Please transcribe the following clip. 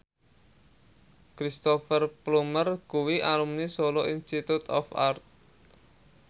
Cristhoper Plumer kuwi alumni Solo Institute of Art